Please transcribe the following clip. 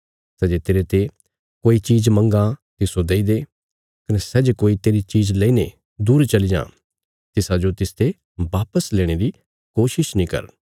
सै जे तेरते कोई चीज मंगां तिस्सो देई दे कने सै जे कोई तेरी चीज लेईने दूर चली जां तिसाजो तिसते वापस लेणे री कोशिश नीं कर